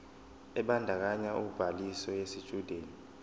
ebandakanya ubhaliso yesitshudeni